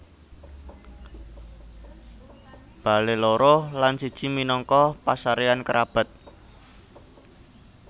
Bale loro lan siji minangka pasareyan kerabat